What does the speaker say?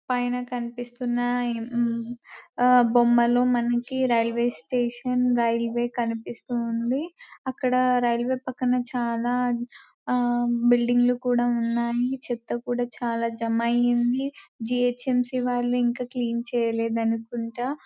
పైన కనిపిస్తున్న ఎం మ్మ్ బొమ్మలో మనకి రైల్వే స్టేషన్ రైల్వే కనిపిస్తూ ఉంది అక్కడ రైల్వే పక్కన చాలా ఆ బిల్డింగ్ లు కూడా ఉన్నాయ్ చెత్త కూడా చాలా జమ అయింది వాళ్ళు ఇంకా క్లీన్ చేయలేదు అనుకుంట